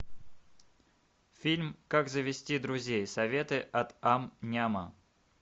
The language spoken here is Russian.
фильм как завести друзей советы от ам няма